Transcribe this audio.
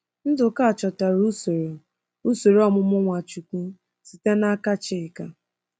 Nduka chọtara usoro usoro ọmụmụ Nwachukwu site n’aka Chika.